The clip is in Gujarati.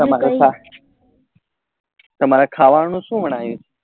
તમારે ખાવા નું શું બન્યું?